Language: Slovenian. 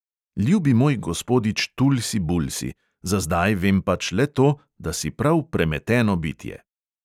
Ljubi moj gospodič tulsi bulsi, za zdaj vem pač le to, da si prav premeteno bitje.